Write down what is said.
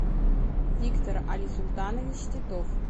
виктор алисултанович титов